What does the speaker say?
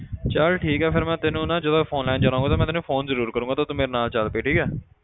ਚੱਲ ਠੀਕ ਹੈ ਫਿਰ ਮੈਂ ਤੈਨੂੰ ਨਾ ਜਦੋਂ phone ਲੈਣ ਜਾਣਾ ਹੋਊਗਾ ਤੇ ਮੈਂ ਤੈਨੂੰ phone ਜ਼ਰੂਰ ਕਰਾਂਗਾ ਤੇ ਤੂੰ ਮੇਰੇ ਨਾਲ ਚੱਲ ਪਈ ਠੀਕ ਹੈ।